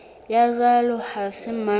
ya jwalo ha se mang